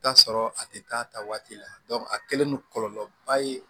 Taa sɔrɔ a tɛ taa ta waati la a kɛlen don kɔlɔlɔ ba ye